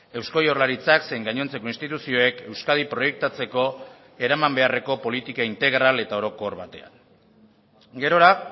eusko jaurlaritzak zein gainontzeko instituzioek euskadi proiektatzeko eraman beharreko politika integral eta orokor batean gerora